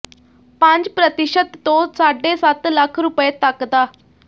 ਪੰਜ ਪ੍ਰਤੀਸ਼ਤ ਤੋਂ ਸਾਢੇ ਸੱਤ ਲੱਖ ਰੁਪਏ ਤੱਕ ਦਾ